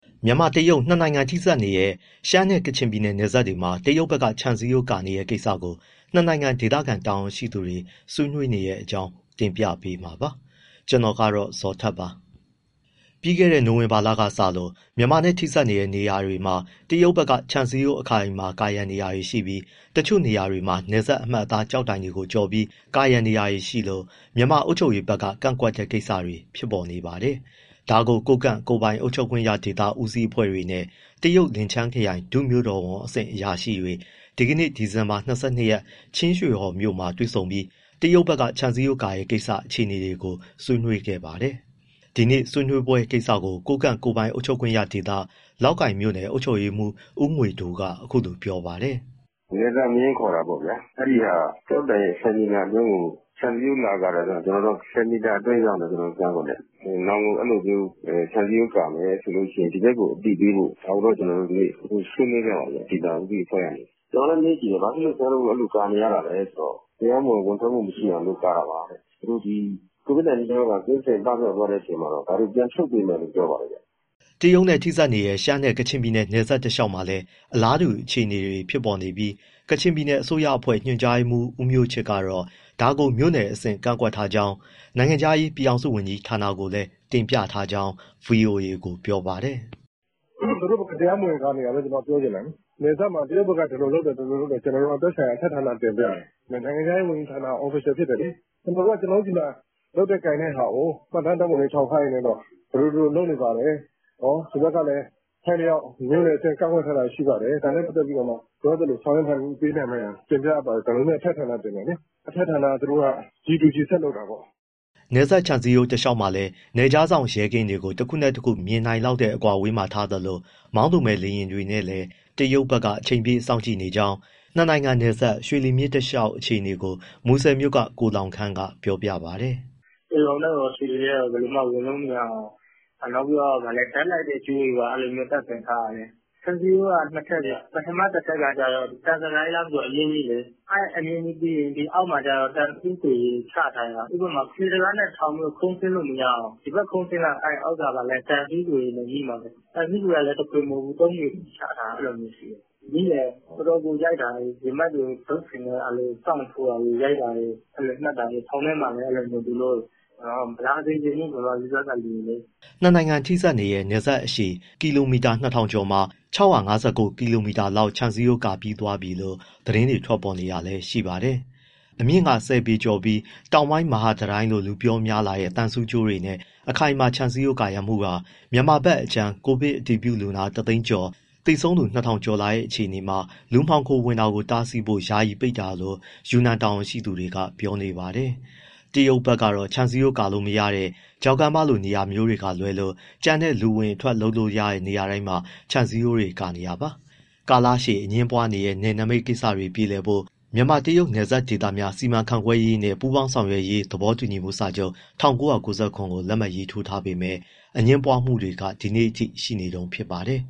မြန်မာ-တရုတ် နှစ်နိုင်ငံထိစပ်နေတဲ့ ရှမ်းနဲ့ ကချင်ပြည်နယ် နယ်စပ်တွေမှာ တရုတ်ဘက်က ခြံစည်းရိုးကာနေတဲ့ ကိစ္စကို နှစ်နိုင်ငံ ဒေသခံ တာဝန်ရှိသူတွေ ဆွေးနွေးနေတဲ့ အကြောင်း တင်ပြပေးမှာပါ။ ဗွီအိုအေမြန်မာပိုင်း သတင်းထောက် ကိုဇော်ထက်က သတင်းပေးပို့ထားပါတယ်။ ပြီးခဲ့တဲ့ နိုဝင်ဘာလကစလို့ မြန်မာနဲ့ ထိစပ်နေတဲ့ နေရာတွေမှာ တရုတ်ဘက်က ခြံစည်းရိုး အခိုင်အမာကာရံနေပြီး တချို့နေရာတွေမှာ နယ်စပ်အမှတ်အသား ကျောက်တိုင်ကိုကျော်ပြီး ကာရံနေလို့ မြန်မာအုပ်ချုပ်ရေးဘက်က ကန့်ကွက်တဲ့ကိစ္စတွေ ဖြစ်နေပါတယ်။ ဒါကို ကိုးကန့် ကိုယ်ပိုင်အုပ်ချုပ်ခွင့်ရဒေသ ဦးစီးအဖွဲ့တွေနဲ့ တရုတ်လင်ချန်းခရိုင် ဒုမြို့တော်ဝန်အဆင့် အရာရှိတွေ ဒီနေ့ ဒီဇင်ဘာ ၂၂ ရက် ချင်းရွှေဟော်မြို့မှာ တွေ့ပြီး တရုတ်ဘက်က ခြံစည်းရိုး ကာရတဲ့ အခြေအနေကို ဆွေးနွေးခဲ့ပါတယ်။ ဒီနေ့ ဆွေးနွေးပွဲကိစ္စကို ကိုးကန့်ကိုယ်ပိုင် အုပ်ချုပ်ခွင့်ရဒေသ၊ လောက်ကိုင်မြို့နယ် အုပ်ချုပ်ရေးမှူး ဦးငွေဒိုးက အခုလိုပြောပြပါတယ်။ “နယ်စပ်မျဉ်းခေါ်တာပေါ့ဗျာ အဲဒါကကျောက်တိုင်ရဲ့ ၁၀ မီတာအတွင်းကို ခြံစည်းရိုးလာကာတယ်ဆိုတော့ ကျနော်တို့က ၁၀ မီတာအတွင်းဆိုရင် ကန့်ကွက်တယ်။ နောင်ကို အဲဒီလိုမျိုး ခြံစည်းရိုးကာမယ်ဆိုရင် ဒီဘက်ကို အသိပေးဖို့ ဒါကို ကျနော်တို့ ဒီနေ့ ဆွေးနွေးခဲ့ပါတယ် ဒေသဦးစီးအဖွဲ့ကနေ။ ကျနော်လည်းမေးကြည့်တယ်... ဘာလို့ခင်ဗျားတို့ ကာနေရတာလဲဆိုတော့ တရားမဝင် ဝင်ထွက်မှု မရှိအောင်လို့ ကာတာပါတဲ့။ COVID-19 ရောဂါ ကင်းစင် ပပျောက်သွားတဲ့ အချိန်မှာတော့ ဒါတွေ ပြန်ဖြုတ်ပေးမယ်လို့ ပြောပါတယ်ခင်ဗျ။” တရုတ်နဲ့ ထိစပ်နေတဲ့ ရှမ်းနဲ့ ကချင်နယ်စပ်တလျှောက်မှာလည်း အလားတူအခြေအနေတွေ ဖြစ်နေပြီး ကချင်ပြည်နယ် အစိုးရအဖွဲ့ ညွှန်ကြားရေးမှူး ဦးမျိုးချစ်ကတော့ ဒါကို မြို့နယ်အဆင့် ကန့်ကွက်ထားကြောင်း၊ နိုင်ငံခြားရေး ပြည်ထောင်စုဝန်ကြီးဌာနကကိုလည်း တင်ပြထားကြောင်း ဗွီအိုအေကို ပြောပါတယ်။ “သူတို့ဘက်က တရားမဝင်ကာနေတာဘဲ... ကျနော်တို့ ပြောချင်တာလေ။ နယ်စပ်မှာ တရုတ်ဘက်က ဒီလိုလုပ်တယ်၊ ဒီလိုလုပ်တယ်... ကျနော်တို့က သက်ဆိုင်ရာ အထက်ဌာနကို တင်ပြတယ်။ နိုင်ငံခြားရေး ဝန်ကြီးဌာနက official ဖြစ်တယ်လေ။ ကျနော်တို့က ကျနော်တို့ဆီမှာ လုပ်တဲ့ကိုင်တဲ့ဟာကို မှတ်တမ်းဓာတ်ပုံတွေ အထောက်အထားတွေနဲ့တော့ ဒီလို၊ ဒီလိုလုပ်နေပါတယ်။ ဒီဘက်ကလည် အထိုက်အလျောက် မြို့နယ်အဆင့် ကန့်ကွက်ထားတာ ရှိပါတယ်။ ဒါနဲ့ပတ်သက်ပြီး လိုအပ်သလို ဆောင်ရွက်နိုင်မှု ပေးနိုင်ပါရန် အထက်ဌာန တင်တယ်လေ။ အထက်ဌာနက G to G ဆက်လုပ်တာပေါ့။” နယ်စပ်ခြံစည်းရိုး တလျှောက်မှာလည်း နယ်ခြားစောင့် ရဲကင်းတွေကို တခုနဲ့တခု မြင်နိုင်လောက်တဲ့ အကွာအဝေးမှာထားသလို မောင်းသူမဲ့ လေယာဉ်ငယ်တွေနဲ့လည်း အချိန်ပြည့်စောင့်ကြည့်နေကြောင်း နှစ်နိုင်ငံနယ်စပ် ရွှေလီမြစ်တလျှောက် အခြေအနေကို မူဆယ်မြို့က ကိုလောင်ခမ်းက ပြောပြပါတယ်။ “ကျယ်ဂေါင်ထဲကိုရော၊ ရွှေလီထဲကိုရော ဘယ်လိုမှဝင်လို့မရအောင် ဓာတ်လိုက်ကြိုးတွေ တပ်ဆင်ထားတာ။ ခြံစည်းရိုးက နှစ်ထပ်ဗျ၊ ပထမတထပ် ကျတော့ သံဇကာ အမြင့်ကြီးလေ၊ အဲဒီအမြင့်ကြီးပြီးရင် အောက်မှာသံဆူးခွေတွေ ချထားတာ၊ ဥပမာ လှေကားနဲ့ထောင်ပြီး ခုန်ဆင်းလို့ မရအောင်၊ ခုန်ဆင်းရင် အောက်ကသံဆူးခွေတွေနဲ့ ငြိမှာ။ သံဆူးခွေက သုံးခွေချထားတာ။ မိရင်တော်တော်ကို ရိုက်တာ၊ ရင်ဘတ်တွေ တုတ်တွေနဲ့ ဆောင့်ထိုးတာ၊ ရိုက်နှက်တာ၊ ထောင်ထဲမှာလည်း အဲဒီလိုမျိုးသူတို့။ မလာစေချင်ဘူး မြန်မာပြည်ဘက်က လူတွေလေ။” နှစ်နိုင်ငံ ထိစပ်နယ်စပ်အရှည် ကီလိုမီတာ ၂,၀၀၀ ကျော် မှာ ၆၅၉ ကီလိုမီတာလောက် ခြံစည်းရိုးကာပြီးပြီလို့ သတင်းတွေထွက်ပေါ်နေတာလည်း ရှိပါတယ်။ အမြင့်ဆယ်ပေကျော်ပြီး “တောင်ပိုင်းမဟာတံတိုင်း” လို့ လူပြောများလာတဲ့ သံဆူးတွေနဲ့ အခိုင်အမာ ခြံစည်းရိုးကာရံမှုဟာ မြန်မာဘက်အခြမ်း ကိုဗစ်အတည်ပြုလူနာ ၁၀၀,၀၀၀ ကျော်၊ အတည်ပြုလူနာ ၂,၀၀၀ ကျော်လာတဲ့ အခြေအနေမှာ လူမှောင်ခိုဝင်တာ တားဆီးဖို့ ယာယီပိတ်တာလို့ ယူနန်တာဝန်ရှိသူတွေက ပြောနေပါတယ်။ တရုတ်ဘက်ကတော့ ခြံစည်းရိုးကာလို့ မရတဲ့ ချောက်ကမ်းပါးလို နေရာမျိုးက လွဲပြီး ကျန်တဲ့ လူအဝင်အထွက် လုပ်လို့ရတဲ့နေရာတိုင်းမှာ ခြံစည်းရိုးကို ကာနေတာပါ။ ကာလရှည် အငြင်းပွားနေတဲ့ နယ်နမိတ်ကိစ္စတွေ ပြေလည်ဖို့ မြန်မာ- တရုတ် နယ်စပ်ဒေသများ စီမံခန့်ခွဲရေးနှင့် ပူးပေါင်းဆောင်ရွက်ရေး သဘောတူစာချုပ် ကိုလက်မှတ်ရေးထိုး ထားပေမဲ့ အငြင်းပွားမှုတွေက ဒီနေ့အထိ ရှိနေတုန်းဖြစ်ပါတယ်